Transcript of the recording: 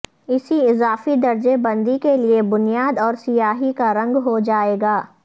اسی اضافی درجہ بندی کے لئے بنیاد اور سیاہی کا رنگ ہو جائے گا